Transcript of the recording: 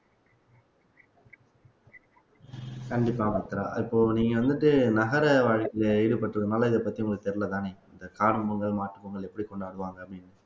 கண்டிப்பா மித்ரா இப்போ நீங்க வந்துட்டு நகர வாழ்க்கையில ஈடுபட்டிருக்கறதுனால இதைப்பத்தி உங்களுக்கு தெரியலைதானே இந்த காரணம் பொங்கல் மாட்டுப்பொங்கல் எப்படி கொண்டாடுவாங்க அப்படின்னு